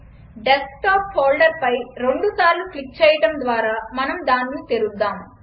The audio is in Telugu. డెస్క్టాప్ ఫోల్డర్పై రెండుసార్లు క్లిక్ చేయడం ద్వారా మనం దానిని తెరుద్దాం